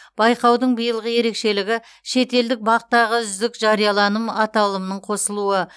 байқаудың билығы ерекшелігі шетелдік бақ тағы үздік жарияланым аталымының қосылуы